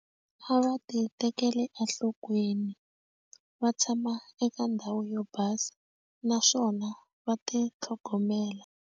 A va ti tekeli enhlokweni va tshama eka ndhawu yo basa naswona va ti tlhogomela.